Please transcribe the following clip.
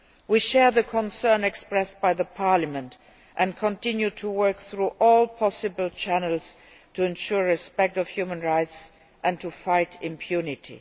We share the concern expressed by the Parliament and continue to work through all possible channels to ensure respect for human rights and to fight impunity.